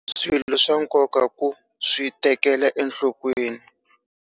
Swilo swa nkoka ku swi tekela enhlokweni.